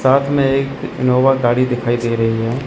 साथ मे एक इनोवा गाड़ी दिखाई दे रही है।